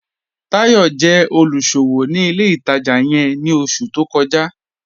Táyọ̀ jẹ́ olúṣọwọ́ ni ilẹ̀ ìtajá yẹ̀n ni oṣù tó kọ́jà